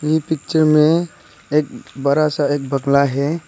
इ पिक्चर में एक बड़ा सा बंगला है।